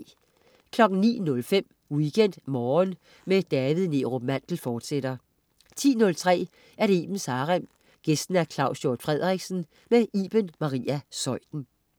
09.05 WeekendMorgen med David Neerup Mandel, fortsat 10.03 Ibens Harem. Gæst: Claus Hjort Frederiksen. Iben Maria Zeuthen